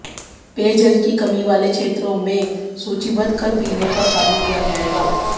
पेयजल की कमी वाले क्षेत्रों को सूचीबद्ध कर पीने का पानी दिया जाएगा